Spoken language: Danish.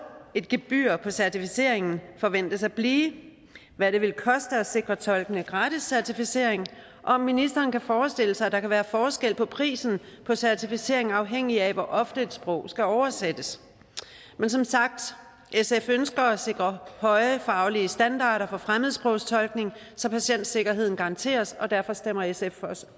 gebyret på certificeringen forventes at blive hvad det vil koste at sikre tolkene gratis certificering og om ministeren kan forestille sig at der kan være forskel på prisen på certificeringen afhængig af hvor ofte et sprog skal oversættes men som sagt sf ønsker at sikre høje faglige standarder for fremmedsprogstolkning så patientsikkerheden garanteres og derfor stemmer sf